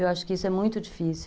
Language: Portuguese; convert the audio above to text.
Eu acho que isso é muito difícil.